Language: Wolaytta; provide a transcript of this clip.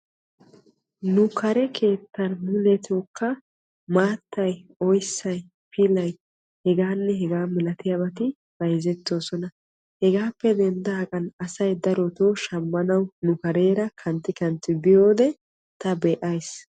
Nu kare keettan mulettokka maattay, oyssay, pilay bayzzettosonna hegappe denddagan asay darotto shamanawu biyoode ta be'ayis.